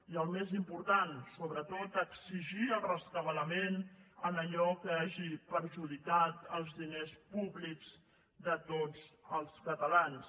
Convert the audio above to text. i el més important sobretot exigir el rescabalament en allò que hagi perjudicat els diners públics de tots els catalans